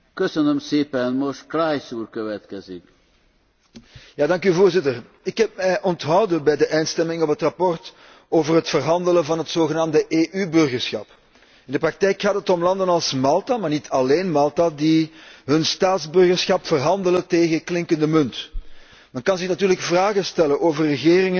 Voorzitter, ik heb mij onthouden bij de eindstemming op over het verslag over het verhandelen van het zogenaamde EU burgerschap. In de praktijk gaat het om landen als Malta maar niet alleen Malta die hun staatsburgerschap verhandelen tegen klinkende munt. Men kan natuurlijk vragen stellen over regeringen die hun nationaliteit louter als koopwaar beschouwen.